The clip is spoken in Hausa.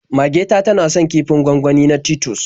Mage ta tana son kifin gwangwani na Titus.